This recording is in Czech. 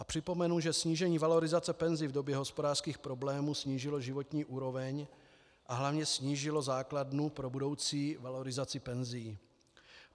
A připomenu, že snížení valorizace penzí v době hospodářských problémů snížilo životní úroveň a hlavně snížilo základnu pro budoucí valorizaci penzí.